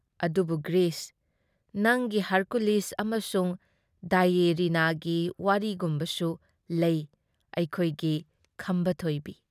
ꯑꯗꯨꯕꯨ ꯒ꯭ꯔꯤꯁ, ꯅꯪꯒꯤ ꯍꯔꯀꯨꯂꯤꯁ ꯑꯃꯁꯨꯡ ꯗꯦꯏꯑꯦꯅꯤꯔꯥꯒꯤ ꯋꯥꯔꯤꯒꯨꯝꯕꯁꯨ ꯂꯩ ꯑꯩꯈꯣꯏꯒꯤ ꯈꯝꯕ ꯊꯣꯏꯕꯤ